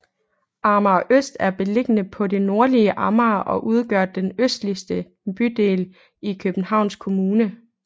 Amager Øst er beliggende på det nordlige Amager og udgør den østligste bydel i Københavns Kommune